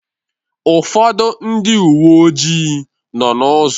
Ụfọdụ ndị uwe ojii nọọ n'ụzọ.